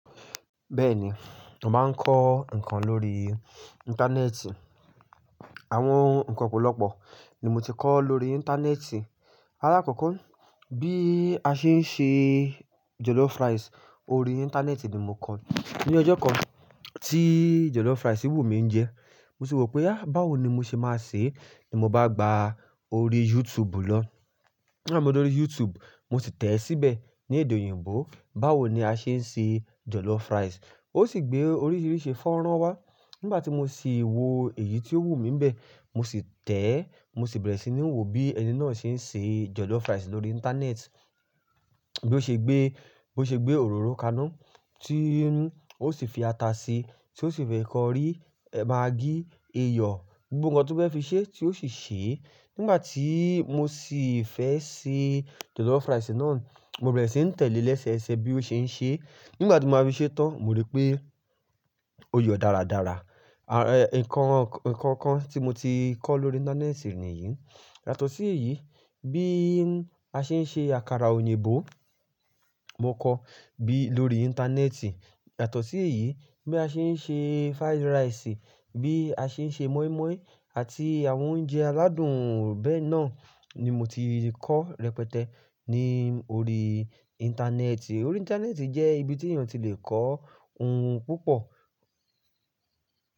Bẹ́ẹ̀ni, mo máa ń kọ́ ǹkan lórí Íńtánẹ́ẹ̀tì. Àwọn ǹkan ọ̀pọ̀lọpọ̀ ni mo ti kọ́ lórí Íńtánẹ́ẹ̀tì. Àlákọ̀kọ́ bí a ṣe ń ṣe jollof rice, orí Íńtánẹ́ẹ̀tì ni mo kọ́. Ni ọjọ́ kan tí jollof rice n wù mí jẹ, mo sì wí pé, "há báwo ni mo ṣe máa ṣe?" ni mo bá gba orí YouTube lọ. Nigba mo d'ọrí YouTube, mo sì tẹ̀ ẹ́ síbẹ̀ ní èdè òyìnbó, báwo ni a ṣe ń se jJollof rice Ó sì gbé orííríìṣẹ́ fọ́nrán wá. Nígbà tí mo sì wo èyí tí ó wù mí ń bẹ, mo sì tẹ̀ẹ́, mo sì bẹ̀rẹ̀ sí ní wo bí ẹni náà ṣe ń se jọlọ́fúráìsì lórí Íńtánẹ́ẹ̀tì. Bí ó ṣe gbé, bó ṣe gbé òróró kaná tí ó sì fi ata sí, tí ó sì fẹ́ kó rí maggí, iyọ, gbogbo nǹkan tí ó fẹ́ fi ṣe tí ó sì ṣe. Nígbà tí mo sì fẹ́ se jollof rice náà, mo bẹ̀rẹ̀ sí ń tẹ̀lẹ́ ẹ́ lẹ́sẹẹsẹ bí ó ṣe ń ṣe. Nígbà tí mo máa fi ṣé tán, mo rí pé ó yọ̀ dáradára. Ẹ̀, ǹkan kan tí mo ti kọ́ lórí Íńtánẹ́ẹ̀tì nìyí. Yàtọ̀ sí èyí, bí a ṣe ń se àkàrà òyìnbó, mo kọ́ bí-- lórí Íńtánẹ́ẹ̀tì. Yàtọ̀ sí èyí, bí a ṣe ń se fried rice, bí a ṣe ń se mọ́ímọ́í àti àwọn oúnjẹ aládùn bẹ́ẹ̀ náà ni mo ti kọ́ rẹpẹtẹ ní orí Íńtánẹ́ẹ̀tì. Orí Íńtánẹ́ẹ̀tì jẹ́ ibi tí èèyàn ti lè kọ́ ohun púpọ̀